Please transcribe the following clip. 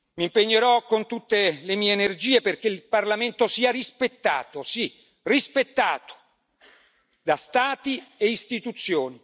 Mi impegnerò con tutte le mie energie perché il Parlamento sia rispettato sì rispettato da Stati e istituzioni.